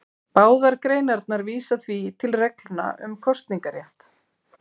Báðar greinarnar vísa því til reglna um kosningarétt.